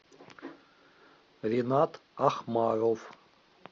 ринат ахмаров